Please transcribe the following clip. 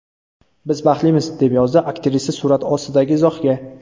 Biz baxtlimiz”, deb yozdi aktrisa surat ostidagi izohga.